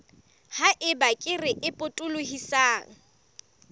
ha eba kere e potolohisang